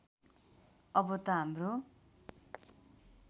अब त हाम्रो